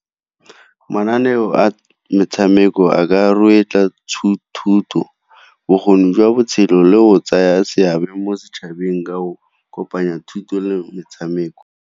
Mananeo a metshameko a ka thuto, bokgoni jwa botshelo, le o tsaya seabe mo setšhabeng ka go kopanya thuto le metshameko.